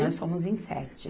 Nós somos em sete.